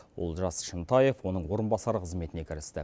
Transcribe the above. олжас шынтаев оның орынбасары қызметіне кірісті